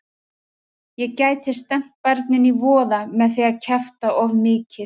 Ég gæti stefnt barninu í voða með því að kjafta of mikið.